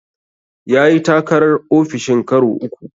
Ya yi takarar ofishin karo uku.